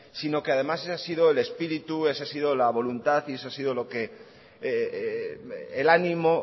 sino que además ese ha sido el espíritu ese ha sido la voluntad y ese ha sido el ánimo